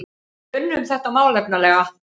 Við unnum þetta málefnalega